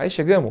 Aí chegamo.